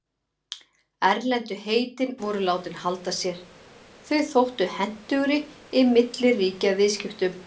Erlendu heitin voru látin halda sér, þau þóttu hentugri í milliríkjaviðskiptum.